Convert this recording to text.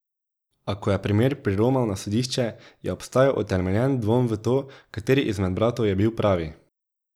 A, ko je primer priromal na sodišče, je obstajal utemeljen dvom v to, kateri izmed bratov je bil pravi.